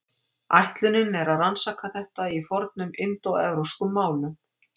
Ætlunin er að rannsaka þetta í fornum indóevrópskum málum.